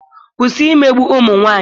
kwụsị imegbu ụmụ nwanyị!